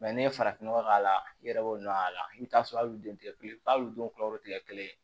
n'i ye farafinnɔgɔ k'a la i yɛrɛ b'o dɔn a la i bɛ taa sɔrɔ hali den tɛ kɛ kelen ye hali u denw kulɛriw tɛ kɛ kelen ye